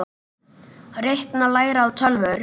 Reikna- læra á tölvur